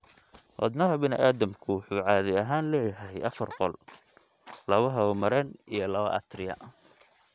Wadnaha bini'aadamku wuxuu caadi ahaan leeyahay afar qol, laba hawo-mareen iyo laba atria.